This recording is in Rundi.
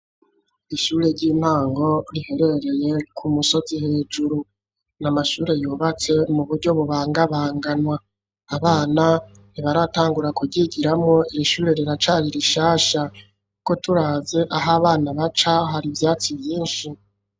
Ishure ry'intango, riherereye, ku musozi hejuru, n’amashure yubatse, mu buryo bubangabanganwa; abana, ntibaratangura kuryigiramwo; iri shure, riracari rishasha; ko turavye aho abana baca, hari ivyatsi vyinshi.